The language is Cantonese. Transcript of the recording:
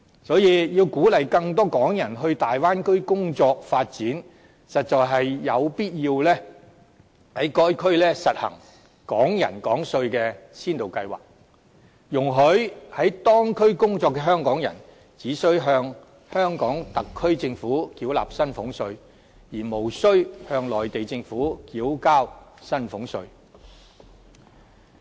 所以要鼓勵更多港人到大灣區工作、發展，實在有必要在該區實行"港人港稅"的先導計劃，容許在當區工作的香港人，只需向香港特區政府繳納薪俸稅，而無須向內地政府繳交薪俸稅。